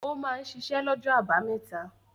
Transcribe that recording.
Ó máa ń ṣiṣẹ́ lọ́jọ́ àbámẹ́ta?